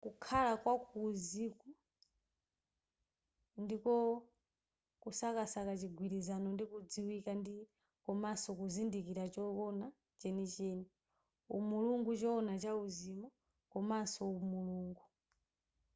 kukhala wa kuuzimu ndiko kusakasaka chigwilizano ndi kudziwika ndi komanso kuzindikira chowona chenicheni umulungu chowona chauzimu komanso mulungu